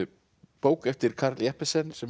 bók eftir Karl Jeppesen sem